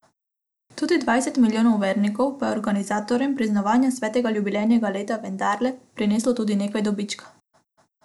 Tudi dvajset milijonov vernikov pa je organizatorjem praznovanja svetega jubilejnega leta vendarle prineslo tudi nekaj dobička.